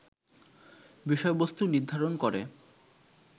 বিষয়বস্তু নির্ধারণ করে